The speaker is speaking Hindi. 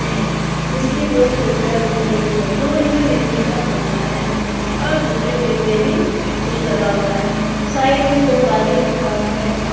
यह जिसके दो खिड़कियां दिख रही है दूर में बिजली का खंबा है और दूसरे खेत में भी कुछ लगा हुआ है साइड में दो बाल्टी रखा हुआ है।